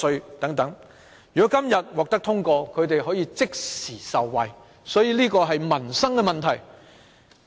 如果《條例草案》今天獲得通過，地產代理便可以即時受惠，所以這是民生問題。